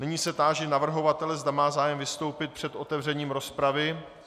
Nyní se táži navrhovatele, zda má zájem vystoupit před otevřením rozpravy.